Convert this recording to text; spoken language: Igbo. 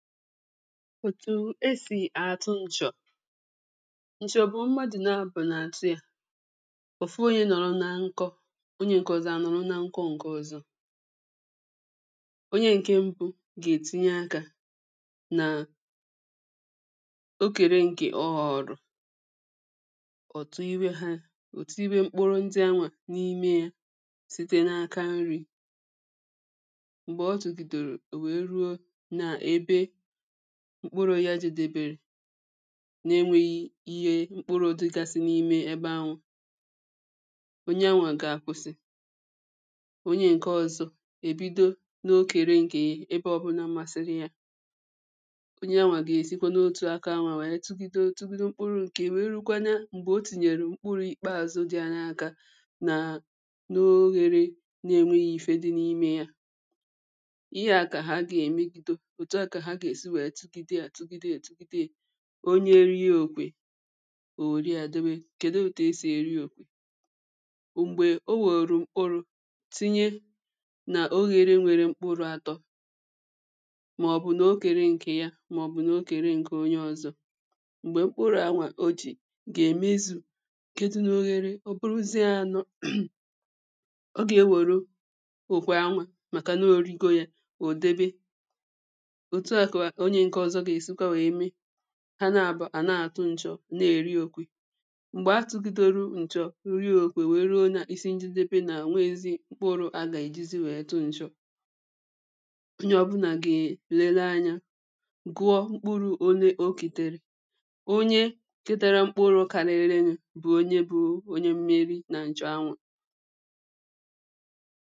etu e si atụ nchọ Nchọ bụ mmadụ nabọ na-atụ ya Ofu onye nọrọ na nkọ onye nke ọzọ anọrọ na nkọ nke ọzọ Onye nke mbụ ga-etinye aka na okere nke ọ họọrọ e tinyewe mkpụrụ ndị ahụ n'ime ya site n'aka nri mgbe ọ tụgịdoro wee ruo n'ebe mkpụrụ ya jedebere n'enweghị ihe mkpụrụ dịgasị n'ime ebe ahụ onye ahụ ga-akwụsị onye nke ọzọ ebido n'okere nke ya ebe ọbụla masịrị ya. Onye ahụ ga-esikwa n'otu aka ahụ wee tụgịdo mkpụrụ nke ya wee ruokwe na o tinyere mkpụrụ ikpeazụ dị ya n'aka na n'ohere n'enweghị ife dị n'ime ya Ihe a ka ha ga-emegido etuo a ka ha ga-esi tụgịdo a tụgịdo a onye rie okwe o were ya debe Kedụ etu e si eri okwe Mgbe o were mkpụrụ tinye n'ohere nwere mkpụrụ atọ maọbụ n'okere ya ma ọ bụ n'okere nke onye ọzọ. Mgbe mkpụrụ ahụ o ji ga-emezu nke dị n'ohere ọ bụrụziịa anọ ọ ga-ewere okwe ahụ maka na o rigo ya o debe. Etu a ka onye nke ọzọ ga-esikwa wee mee. Ha nabọ a na-atụ nchọ na-eri okwe. Mgbe a tụgidoro nchọ rie okwe wee ruo n'isi njedebe nke na o nweghịzi mkpụrụ a ga-ejizi wee tụọ nchọ. Onye ọbụla ga-elele anya gụọ mkpụrụ ole o ketere.. Onye ketere mkpụrụ karịrị bụ onye bụ onye mmeri na nchọ ahụ